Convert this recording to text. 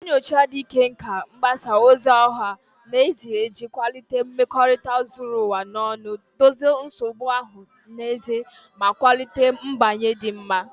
Nyochaa ikike nke mgbasa ozi ọha na eze iji kwalite mmekorita zuru ụwa ọnụ, dozie nsogbu ọha na eze, ma kwalite mgbanwe dị mma.